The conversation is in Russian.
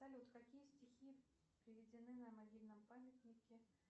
салют какие стихи приведены на могильном памятнике